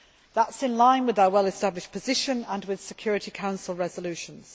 That is in line with our well established position and with Security Council resolutions.